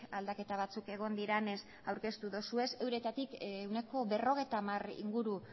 aldaketa batzuk egon direnez aurkeztu duzue euretatik ehuneko berrogeita hamar inguru